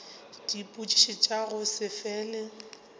dipotšišo tša go se fele